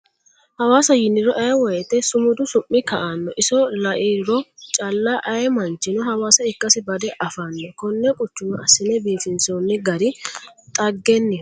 Hawaasa yiniro ayee woyte su'mudu su'mi ka'ano iso lairo calla ayee manchino hawaasa ikkasi bade affano kone quchuma assine biifinsonni gari dhaggeniho.